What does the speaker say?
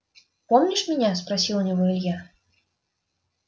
помнишь меня спросил у него илья